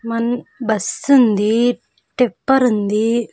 Mann-- bus ఉంది tipper ఉంది.